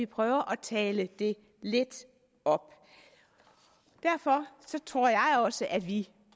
prøve at tale det lidt op derfor tror jeg også at vi